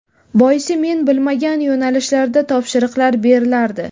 Boisi men bilmagan yo‘nalishlarda topshiriqlar berilardi.